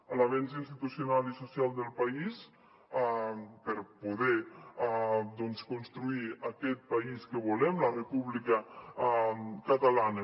a l’avenç institucional i social del país per poder doncs construir aquest país que volem la república catalana